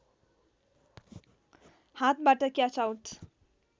हातबाट catch out